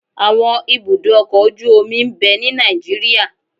Àwọn ibùdó ọkọ̀-ojú omi ń bẹ ní Nàìjíríà